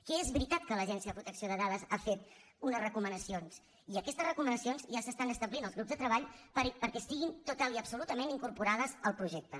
que és veritat que l’agència de protecció de dades ha fet unes recomanacions i aquestes recomanacions ja s’estan establint als grups de treball perquè estiguin totalment i absolutament incorporades al projecte